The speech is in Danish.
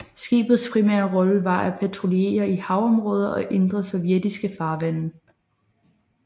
Skibets primære rolle var patruljer i haveområder og indre sovjetiske farvande